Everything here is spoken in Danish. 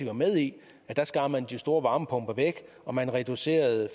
var med i skar man de store varmepumper væk og man reducerede